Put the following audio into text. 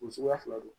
O suguya fila don